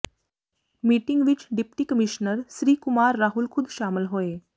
meeting ਵਿੱਚ deputy commissioner Shri Kumar Rahul ਖੁਦ ਸ਼ਾਮਲ ਹੋਏ